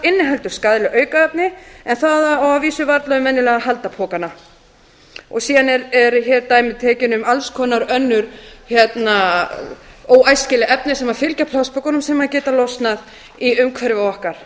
inniheldur skaðleg aukaefni en það á að vísu varla við um venjulegu haldapokana síðan eru hér dæmi tekin um alls konar önnur óæskileg efni sem fylgja plastpokunum sem geta losnað í umhverfi okkar